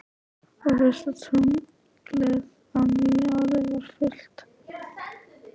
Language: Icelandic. Og fyrsta tunglið á nýju ári var fullt.